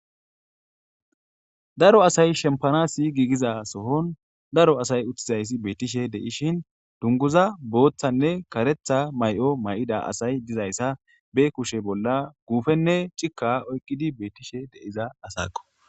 daro asay shempanasi giigiza sohon daro asay uttizayssi beettishe de'ishin dunguza booththanne karetha may'o may'ida asay dizayssa be kushe bolla guufenne cika oyqqidi beettishe deiza asakko